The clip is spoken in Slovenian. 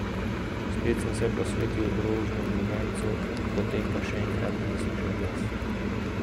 Spet sem se posvetil rožnemu vencu, potem pa še enkrat zaslišal glas.